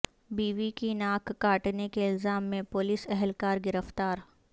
بیوی کی ناک کاٹنے کے الزام میں پولیس اہلکار گرفتار